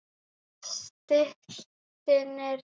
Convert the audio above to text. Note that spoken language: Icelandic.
Stirnir, hvernig verður veðrið á morgun?